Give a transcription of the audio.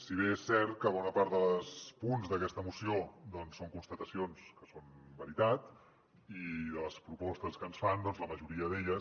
si bé és cert que bona part dels punts d’aquesta moció són constatacions que són veritat i de les propostes que ens fan doncs la majoria d’elles